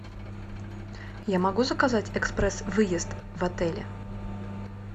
я могу заказать экспресс выезд в отеле